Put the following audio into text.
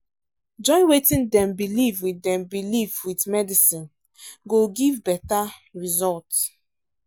join wetin dem believe with dem believe with medicine go give better result.